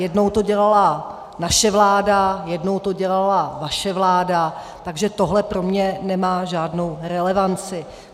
Jednou to dělala naše vláda, jednou to dělala vaše vláda, takže tohle pro mne nemá žádnou relevanci.